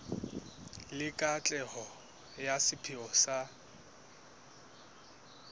le katleho ya sepheo sa